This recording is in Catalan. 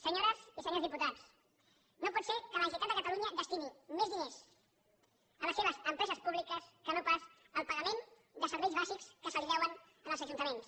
senyores i senyors diputats no pot ser que la generalitat de catalunya destini més diners a les seves empreses públiques que no pas al pagament de serveis bàsics que es deuen als ajuntaments